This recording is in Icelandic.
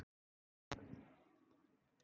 Ég hef ekki sama fréttamat og flestir blaðamenn.